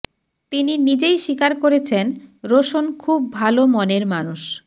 তিনি নিজেই স্বীকার করেছেন রোশন খুব ভালো মনের মানুষ